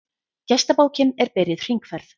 Gestabókin er byrjuð hringferð.